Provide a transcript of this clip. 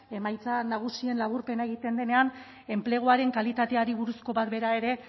emaitza nagusien laburpena egiten denean enpleguaren kalitateari buruzko bat bera ere